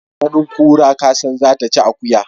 Da ganin kura kasan zata ci akuya.